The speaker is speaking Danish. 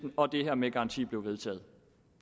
og det her med garanti bliver vedtaget